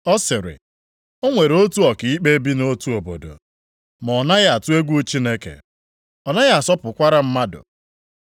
ọ sịrị, “O nwere otu ọkaikpe bi nʼotu obodo ma ọ naghị atụ egwu Chineke. Ọ naghị asọpụkwara mmadụ.